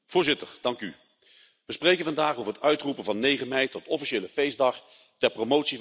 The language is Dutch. We spreken vandaag over het uitroepen van 9 mei tot officiële feestdag ter promotie van de Europese Unie.